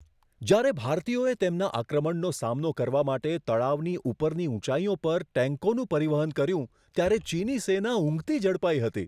જ્યારે ભારતીયોએ તેમના આક્રમણનો સામનો કરવા માટે તળાવની ઉપરની ઊંચાઈઓ પર ટેન્કોનું પરિવહન કર્યું, ત્યારે ચીની સેના ઊંઘતી ઝડપાઈ હતી.